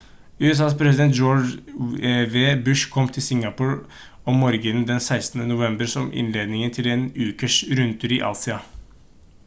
usas president george w bush kom til singapore om morgenen den 16. november som innledningen til en ukes rundtur i asia